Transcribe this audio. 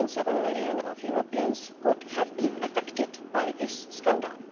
2.7 million Europeans could have been affected by this scandal.